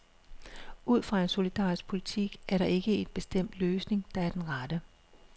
Ud fra en solidarisk politik er der ikke en bestemt løsning, der er den rette.